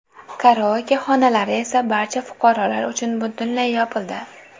Karaoke xonalari esa barcha fuqarolar uchun butunlay yopildi.